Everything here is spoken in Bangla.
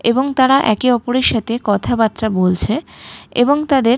এবং তারা একে অপরের সাথে কথাবার্তা বলছে এবং তাদের--